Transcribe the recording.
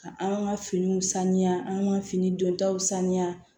Ka an ka finiw sanuya an ka fini don taw saniya